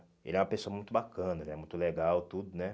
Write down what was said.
Ele era uma pessoa muito bacana, ele é muito legal, tudo, né?